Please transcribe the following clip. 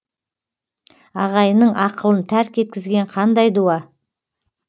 ағайынның ақылын тәрк еткізген қандай дуа